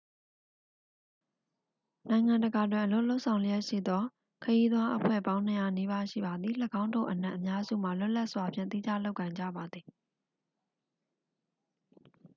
နိုင်ငံတကာတွင် အလုပ်လုပ်ဆောင်လျှက်ရှိသော ခရီးသွားအဖွဲ့အစည်းပေါင်း 200 နီးပါးရှိပါသည် ၎င်းတို့အနက်အများစုမှာ လွတ်လပ်စွာဖြင့်သီးခြားလုပ်ကိုင်ကြပါသည်